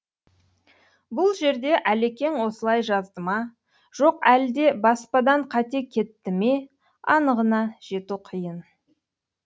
бұл жерде әлекең осылай жазды ма жоқ әлде баспадан қате кетті ме анығына жету қиын